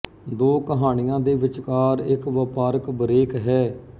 ਦੋ ਕਹਾਣੀਆਂ ਦੇ ਵਿਚਕਾਰ ਇੱਕ ਵਪਾਰਕ ਬ੍ਰੇਕ ਹੈ